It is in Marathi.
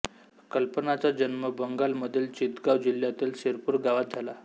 कल्पनाचा जन्म बंगालमधील चितगांव जिल्ह्यातील सिरपूर गावात झाला